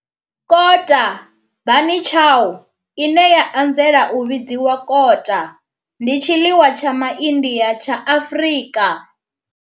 Kota, bunny chow, ine ya anzela u vhidzwa kota, ndi tshiḽiwa tsha MA India tsha Afrika.